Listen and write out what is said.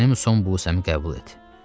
Mənim son busəmi qəbul et.